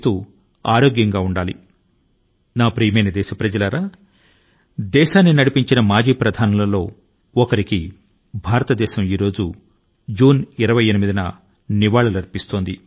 నా ప్రియమైన దేశవాసులారా ఈ రోజు జూన్ 28 వ తేదీ న క్లిష్ట కాలం లో దేశాన్ని గట్టెక్కించిన పూర్వ ప్రధానుల లో ఒకరికి భారతదేశం శ్రద్ధాంజలి ని ఘటించింది